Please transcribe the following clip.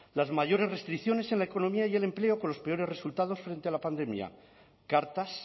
las mayores restricciones en la economía y el empleo con los peores resultados frente a la pandemia cartas